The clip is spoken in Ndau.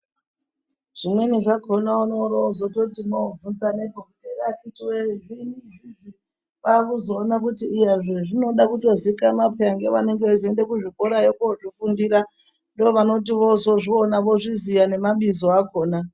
Zvimweni zvakona unooro wozototi wovhunza apapo kuti akiti woyee zviini izvizvi kwakuzoona kuti iya zvezvinoda kutozikanwa peyani ngevanenge veizoende kuzvikorayo kozvifundira ndovanoti vozozviona vozviziya nemabizo akona.